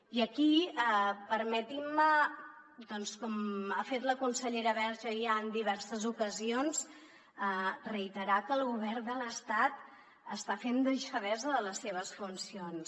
i aquí permetin me doncs com ha fet la consellera verge ja en diverses ocasions reiterar que el govern de l’estat està fent deixadesa de les seves funcions